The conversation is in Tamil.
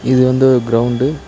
இது வந்து ஒரு கிரௌண்ட் .